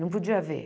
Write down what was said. Não podia ver.